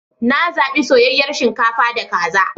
Na zaɓi soyayyar shinkafa da kaza.